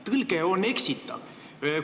Tõlge on eksitav!